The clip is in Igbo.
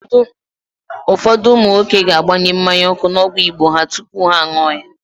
Ụfọdụ ụmụ nwoke ga-agbanye mmanya ọkụ n'ọgwụ Igbo ha tupu ha an̄ụọ ya.